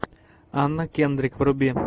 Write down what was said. анна кендрик вруби